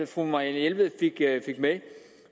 fru marianne jelved fik med